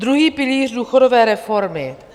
Druhý pilíř důchodové reformy.